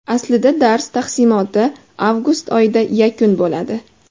Aslida dars taqsimoti avgust oyida yakun bo‘ladi.